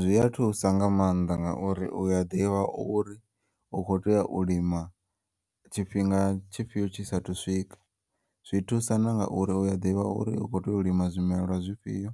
Zwiya thusa nga maanḓa ngauri uya ḓivha uri u kho tea u lima tshifhinga tshifhiyo tshi sathu swika, zwi thusa nanga uri uya ḓivha uri u kho tea u lima zwimelwa zwifhiyo